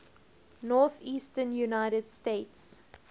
northeastern united states